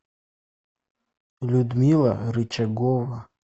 людмила рычагова